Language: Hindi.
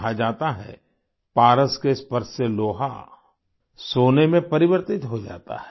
कहा जाता है पारस के स्पर्श से लोहा सोने में परिवर्तित हो जाता है